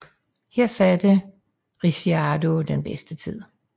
Her satte Ricciardo den bedste tid